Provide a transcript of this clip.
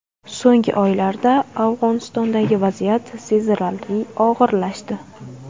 So‘nggi oylarda Afg‘onistondagi vaziyat sezilarli og‘irlashdi.